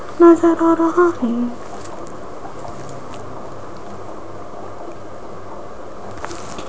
नजर आ रहा है।